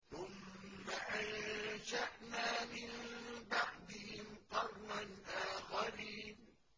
ثُمَّ أَنشَأْنَا مِن بَعْدِهِمْ قَرْنًا آخَرِينَ